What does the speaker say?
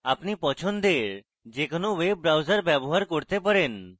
আপনি পছন্দের যে কোনো web browser ব্যবহার করতে পারেন